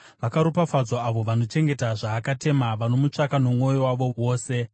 Vakaropafadzwa avo vanochengeta zvaakatema, vanomutsvaka nomwoyo wavo wose.